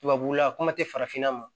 Tubabula kuma tɛ farafinna ma